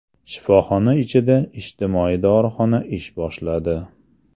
Shifoxona ichida ijtimoiy dorixona ish boshladi.